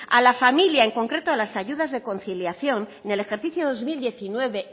a la familia en concreto a las ayudas de conciliación en el ejercicio dos mil diecinueve